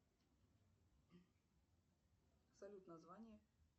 салют название